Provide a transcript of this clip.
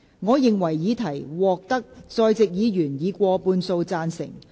我認為議題獲得在席議員以過半數贊成。